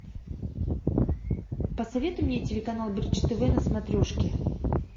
посоветуй мне телеканал бридж тв на смотрешке